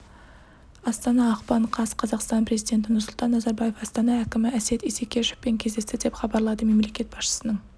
астана ақпан қаз қазақстан президенті нұрсұлтан назарбаев астана әкімі әсет исекешовпен кездесті деп хабарлады мемлекет басшысының